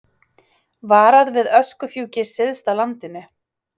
Varað við öskufjúki syðst á landinu